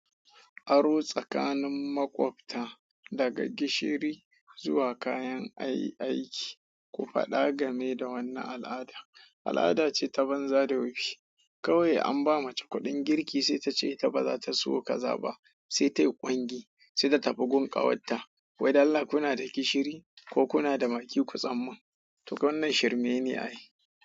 Aro tsakanin makwabta daga gishiri zuwa kayan ayi aiki, ku faɗa game da wannan al'ada. Al'ada ce ta banza da wofi. Kawai an ba mace kuɗin girki sai ta ce ta ba za ta siyo kaza ba, sai tayi ƙwangi sai ta tafi gun ƙawarta. Wai dalla kuna da gishiri ko kuna da magi ku tsammin? To wannan shirmen ne a yi.